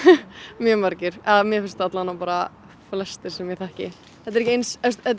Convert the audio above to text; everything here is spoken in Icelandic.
mjög margir mér finnst bara flestir sem ég þekki þetta er eins